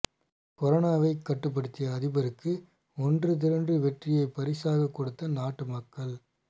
கொரோனாவை கட்டுப்படுத்திய அதிபருக்கு ஒன்று திரண்டு வெற்றியை பரிசாக கொடுத்த நாட்டு மக்கள்